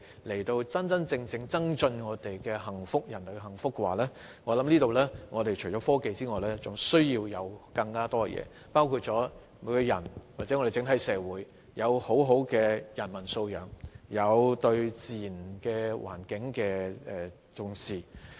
如要真正令人類更為幸福，我想除了科技外，還需要更多東西，包括每個人或整體社會的良好人文素養，以及對自然環境的重視。